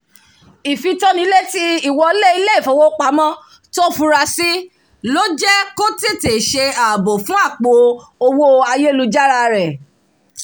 ìfitónilétí ìwọlé ilé-ìfowópamọ́ tó fura sí ló jẹ́ kó tètè ṣe ààbò fún àpò owó ayélujára rẹ̀